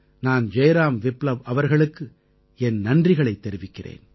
நான் ஜெய்ராம் விப்லவ் அவர்களுக்கு என் நன்றிகளைத் தெரிவிக்கிறேன்